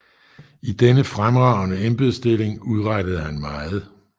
I denne fremragende embedsstilling udrettede han meget